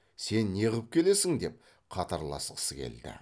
сен неғып келесің деп қатарласқысы келді